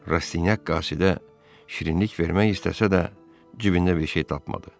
Rastinyak qasidə şirinlik vermək istəsə də, cibində bir şey tapmadı.